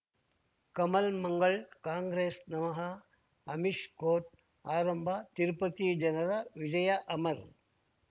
Kamal Mangal Congress ನಮಃ Amish court ಆರಂಭ ತಿರುಪತಿ ಜನರ ವಿಜಯ ಅಮರ್